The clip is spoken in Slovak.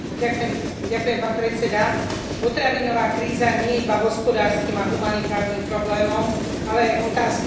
Potravinová kríza nie je iba hospodárskym a humanitárnym problémom, ale aj otázkou svetového mieru a bezpečnosti.